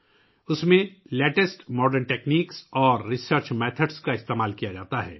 اس میں جدید ترین تکنیک اور تحقیقی طریقے استعمال کیے گئے ہیں